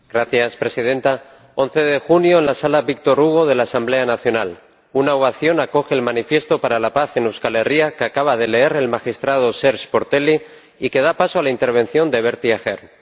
Señora Presidenta, el 11 de junio, en la sala Victor Hugo de la Asamblea Nacional, una ovación acoge el Manifiesto por la Paz de Euskal Herria que acaba de leer el magistrado Serge Portelli y que da paso a la intervención de Bertie Ahern.